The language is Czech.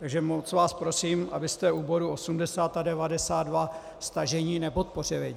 Takže moc vás prosím, abyste u bodů 80 a 92 stažení nepodpořili.